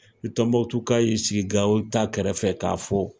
Ni tɔnbukutuka y'i sigi gawo ta kɛrɛfɛ k'a fɔ